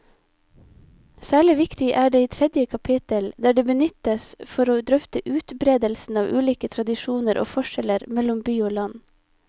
Særlig viktig er det i tredje kapittel, der det benyttes for å drøfte utbredelsen av ulike tradisjoner og forskjeller mellom by og land.